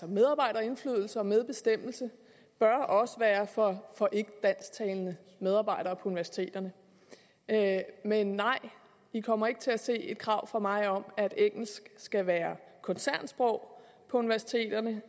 medarbejderindflydelse og medbestemmelse bør også være for ikkedansktalende medarbejdere på universiteterne men nej vi kommer ikke til at se et krav fra mig om at engelsk skal være koncernsprog på universiteterne